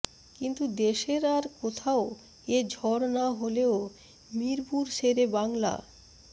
কিন্তু দেশের আর কোথাও এ ঝড় না হলেও মিরপুর শেরে বাংলা